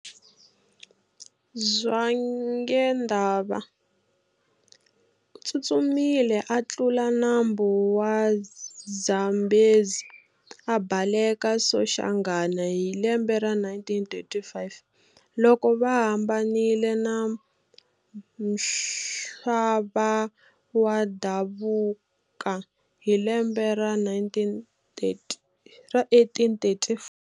Zwangendaba utsutsumile a tlula nambu wa Zambezi, a bhaleka Soshanghana hi lembe ra 1835, loko va hambanile na Mhlabawadabuka hi lembe ra 1834.